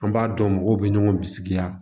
An b'a dɔn mɔgɔw bɛ ɲɔgɔn bisigiya